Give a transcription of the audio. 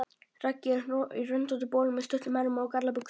Raggi er í röndóttum bol með stuttum ermum og gallabuxum.